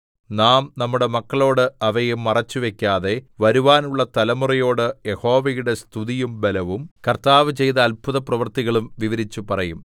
നാം നമ്മുടെ മക്കളോട് അവയെ മറച്ചുവയ്ക്കാതെ വരുവാനുള്ള തലമുറയോട് യഹോവയുടെ സ്തുതിയും ബലവും കർത്താവ് ചെയ്ത അത്ഭുതപ്രവൃത്തികളും വിവരിച്ചുപറയും